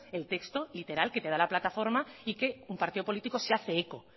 el texto literal que te da la plataforma y que un partido político se hace eco